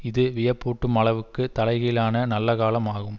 இது வியப்பூட்டும் அளவுக்கு தலை கீழான நல்ல காலம் ஆகும்